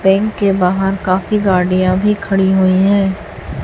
Bank के बाहर काफी गाड़ियाँ भी खड़ी हुई हैं।